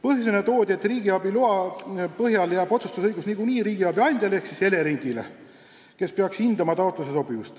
Põhjusena toodi, et riigiabiloa korral jääb otsustusõigus niikuinii riigiabi andjale ehk Eleringile, kes peaks hindama taotluse sobivust.